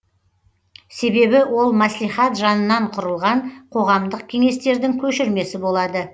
себебі ол мәслихат жанынан құрылған қоғамдық кеңестердің көшірмесі болады